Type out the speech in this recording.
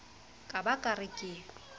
ka ba ke re ke